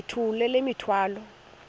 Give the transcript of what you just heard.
yithula le mithwalo